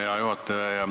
Hea juhataja!